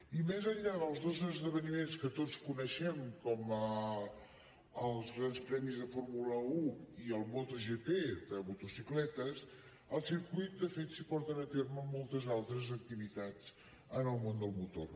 i més enllà dels dos esdeveniments que tots coneixem com els grans premis de fórmula un i el motogp de motocicletes al circuit de fet s’hi porten a terme moltes altres activitats en el món del motor